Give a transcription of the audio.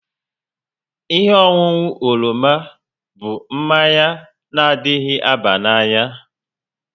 Ihe ọṅụṅụ oroma bụ mmanya na adịghị aba n'anya